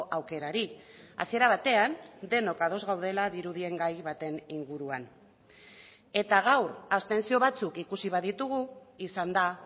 aukerari hasiera batean denok ados gaudela dirudien gai baten inguruan eta gaur abstentzio batzuk ikusi baditugu izan da